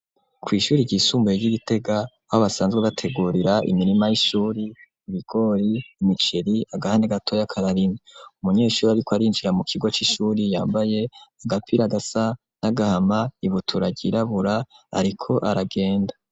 Kw'ishuri ry'isumbuye ryi Gitega aho basanzwe bategurira imirima y'ishure, ibigori imiceri agahande gatoyi kararimye, umunyeshure ariko arinjira mukigo c'ishure yambaye agapira gasa nagahama ibutura ryirabura ariko aragenda.